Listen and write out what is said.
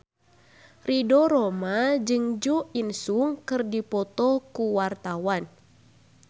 Ridho Roma jeung Jo In Sung keur dipoto ku wartawan